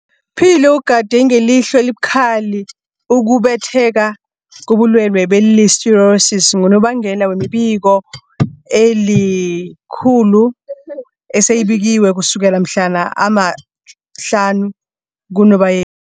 Philo ugade ngelihlo elibukhali ukubhebhetheka kobulwele be-Listeriosis, ngonobangela wemibiko eli-119 eseyibikiwe ukusukela mhlana ama-5 kuNobayeni.